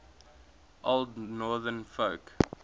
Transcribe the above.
old northern folk